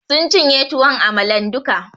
Sun cinye tuwon amalan duka